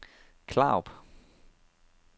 Klarup